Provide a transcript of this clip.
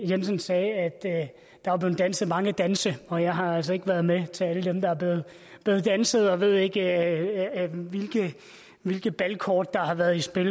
jensen sagde at der var blevet danset mange danse og jeg har altså ikke været med til alle dem der er blevet danset og ved ikke hvilke balkort der har været i spil